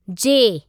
जे